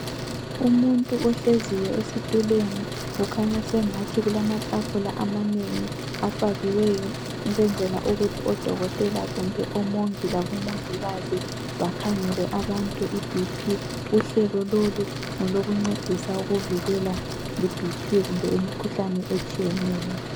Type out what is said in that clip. Umuntu ohleziyo esitulweni kukhanya sengathi kulamatafula amanengi afakiweyo ukwenzela ukuthi odokotela kumbe omongi labo mongikazi bakhangele abantu ibhiphi. Uhlelo lolu ngolokuncedisa ukuvikela ibhiphi kumbe imkhuhlane etshiyeneyo.